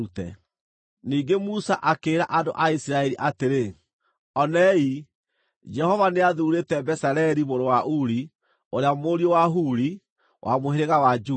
Ningĩ Musa akĩĩra andũ a Isiraeli atĩrĩ, “Onei, Jehova nĩathuurĩte Bezaleli mũrũ wa Uri ũrĩa mũriũ wa Huri, wa mũhĩrĩga wa Juda,